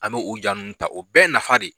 An bɛ o ja ninnu ta o bɛɛ nafa de